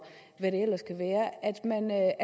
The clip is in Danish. hvad